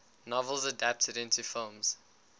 novels adapted into films